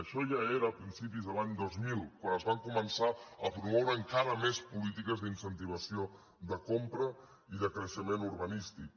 això ja era a principis de l’any dos mil quan es van co·mençar a promoure encara més polítiques d’incentiva·ció de compra i de creixement urbanístic